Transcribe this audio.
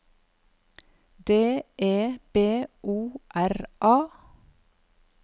D E B O R A